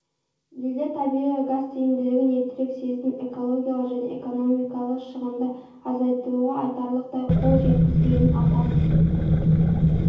елдер табиғи газ тиімділігін ертерек сезініп экологиялық және экономикалық шығынды азайтуға айтарлықтай қол жеткізгенін атап